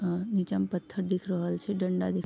अ नीचा में पत्थर दिख रहल छै डंडा दिख --